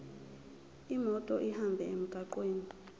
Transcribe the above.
imoto ihambe emgwaqweni